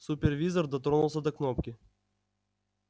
супервизор дотронулся до кнопки